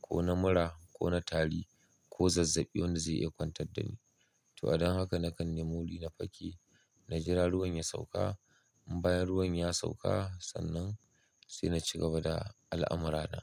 ko na mura ko na tari ko zazzabi wanda zai iya kwantar da ni. To, a dan haka nakan nemi wuri na fake. Na jira ruwan ya sauka. In bayan ruwan ya sauka sannan sai na cigaba da al'amura na.